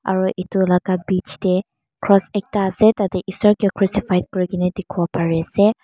aro etu laga bich dae cross ekta asae tadae esor kae crucified kurikina diki po pari asae.